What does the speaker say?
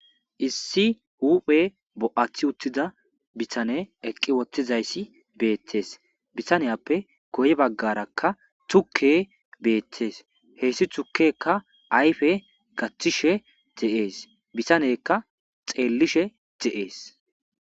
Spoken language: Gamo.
Issi huphe bo'atiza bitaney eqi uttidaysi betes bitanaoe guye bagara tuke betes hesi tukeyka ayde gathishe de'es bitaneyka xelishe de'es